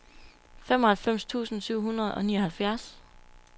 femoghalvfems tusind syv hundrede og nioghalvfjerds